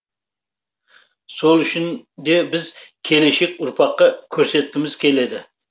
сол үшін де біз келешек ұрпаққа көрсеткіміз келеді